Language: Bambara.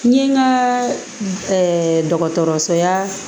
N ye n ka dɔgɔtɔrɔso ya